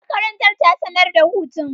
Makarantar ta sanar da hutun.